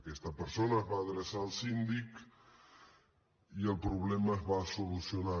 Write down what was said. aquesta persona es va adreçar al síndic i el problema es va solucionar